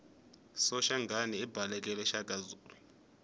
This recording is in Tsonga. soshangana ibhaleke shakazulu